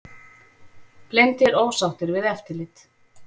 Blindir ósáttir við eftirlit